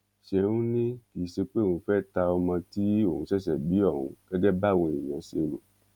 ṣeun ní kì í ṣe pé òun fẹ́ ta ọmọ tí òun ṣẹ̀ṣẹ̀ bí ọ̀hún gẹ́gẹ́ báwọn èèyàn ṣe rò